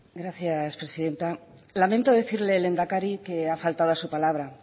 gracias presidenta lamento decirle lehendakari que ha faltado a su palabra